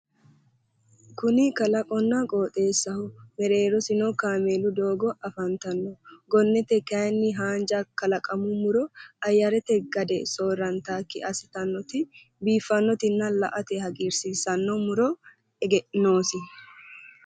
Kuni kalaqonna qooxeessaho . Mereerosino kaameelu doogo afantanno. Gonnete kayinni haanja kalaqamuu muro ayyarete gade soorrantaakki assitannoti biiffannotinna la'ate hagiirsiissanno muro noosi.